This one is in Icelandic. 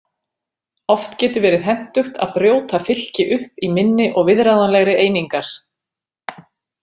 Oft getur verið hentugt að brjóta fylki upp í minni og viðráðanlegri einingar.